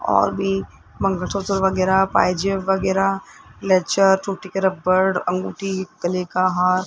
और भी मंगलसूत्र वगैरा पायजेब वगैरा लेजा टूटी के रबर अंगूठी गले का हार --